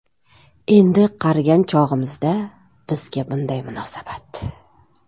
Endi qarigan chog‘imizda bizga bunday munosabat.